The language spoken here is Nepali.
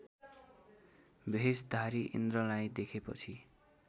भेषधारी इन्द्रलाई देखेपछि